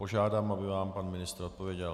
Požádám, aby vám pan ministr odpověděl.